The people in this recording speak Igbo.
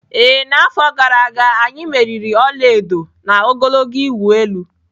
Ee, n'afọ gara aga, anyị meriri ọla edo na ogologo ịwụ elu.